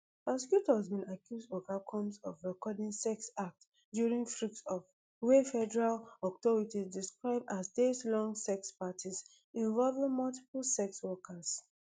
prosecutors bin accuse oga combs of recording sex acts during freak offs wey federal authorities describe as dayslong sex parties involving multiple sex workers